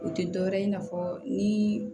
O tɛ dɔ wɛrɛ ye i n'a fɔ ni